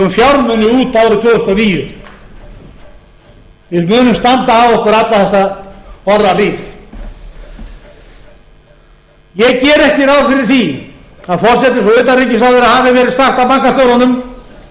fjármuni út árið tvö þúsund og níu við munum standa af okkur alla þessa orrahríð ég geri ekki ráð fyrir því að forsætis og utanríkisráðherra hafi verið sagt af bankastjórunum